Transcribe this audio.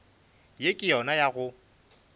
ye ke yona ya go